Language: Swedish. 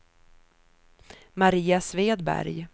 Maria Svedberg